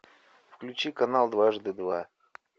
включи канал дважды два